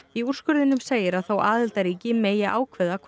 í úrskurðinum segir að þó aðildarríki megi ákveða hvort